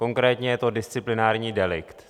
Konkrétně je to disciplinární delikt.